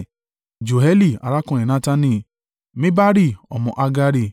Joẹli arákùnrin Natani Mibari ọmọ Hagari,